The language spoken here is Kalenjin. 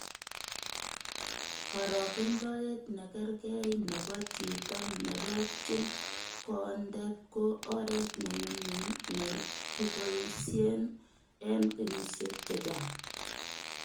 Korokendoet nekergee nebo chito nerobchin kondeet ko oret ne nyumyum nekikeboishen en kenyisiek chechang.